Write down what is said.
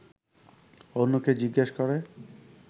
অন্যকে জিজ্ঞেস করে